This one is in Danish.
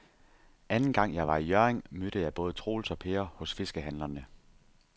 Anden gang jeg var i Hjørring, mødte jeg både Troels og Per hos fiskehandlerne.